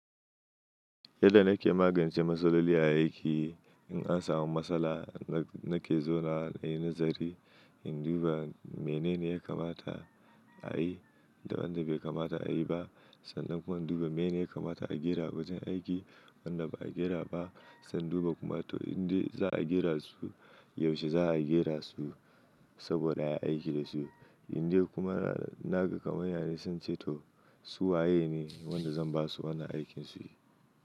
Yadda nake magance matsaloli a aiki, in an samu matsala nake zaunawa nayi nazari, in duba menene ya kamata a yi da wanda bai kamata a yi ba. Sannan kuma in duba menene ya kamata a gyara a wajen aiki wanda ba a gyara ba. Sannan duba kuma toh indai za a gyara su yaushe za a gyara su saboda ai aiki da su. Inda kuma naga kamanya ne sai ince toh su waye ne wanda zan basu wannan aikin su yi.